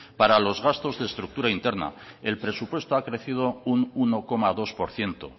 para los gastos de estructura interna el presupuesto ha crecido un uno coma dos por ciento